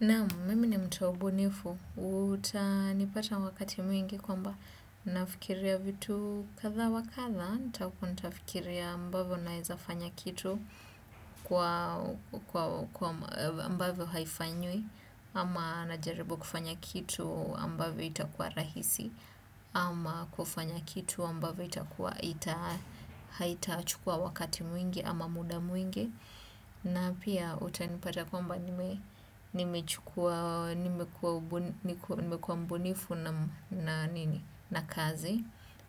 Naam, mimi ni mtu wa ubunifu, utanipata wakati mwingi kwamba nafikiria vitu kadha wa kadha, nitafikiria ambavyo naeza fanya kitu kwa ambavyo haifanywi, ama najaribu kufanya kitu ambavyo itakuwa rahisi, ama kufanya kitu ambavyo itakuwa haitachukua wakati mwingi ama muda mwingi, na pia utanipata kwamba nimekuwa mbunifu na kazi.